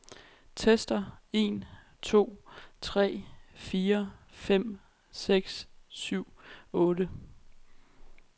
Tester en to tre fire fem seks syv otte.